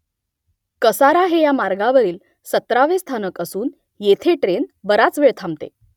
कसारा हे या मार्गावरील सतरावे स्थानक असून येथे ट्रेन बराच वेळ थांबते